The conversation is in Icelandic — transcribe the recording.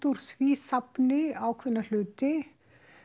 úr því safni ákveðna hluti